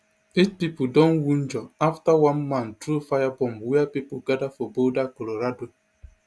eight pipo don wunjure afte one man throw fire bomb wia pipo gada for boulder colorado